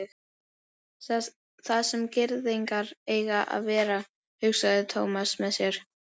Þar sem gyðingar eiga að vera, hugsaði Thomas með sér.